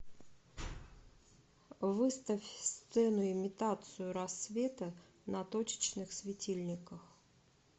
выставь сцену имитацию рассвета на точечных светильниках